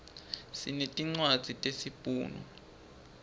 sinetincwadzi tesi bhunu